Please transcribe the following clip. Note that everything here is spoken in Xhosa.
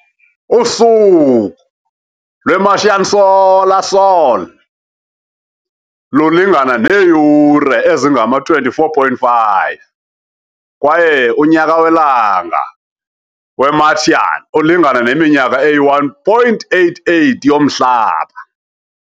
Usuku lwe-Martian solar, sol, lulingana neeyure ezingama-24.5 kwaye unyaka welanga we-Martian ulingana neminyaka eyi-1.88 yoMhlaba.